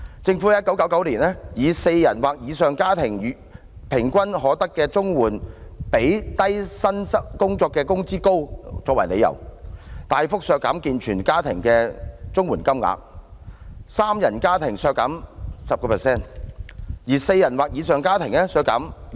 政府在1999年以"四人或以上的家庭每月平均可得的綜援比低薪工作的工資高"為由，大幅削減健全家庭的綜援金額，三人家庭削減 10%， 而四人或以上的家庭則削減 20%。